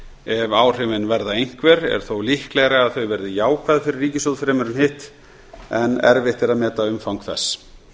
ef áhrifin verða einhver er þó líklegra að þau verði jákvæð fyrir ríkissjóð en hitt en erfitt er að meta umfang þess